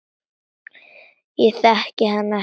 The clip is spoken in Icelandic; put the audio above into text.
Ég þekki hana ekkert.